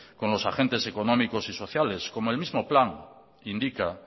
con los agentes económicos y sociales como el mismo plan indica